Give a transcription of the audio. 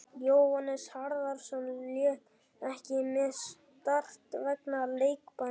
Jóhannes Harðarson lék ekki með Start vegna leikbanns.